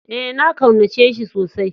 Ee, na kaunace shi tsosai.